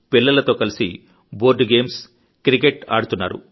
పిల్లలతో కలిసి board games cricket ఆడుతున్నారు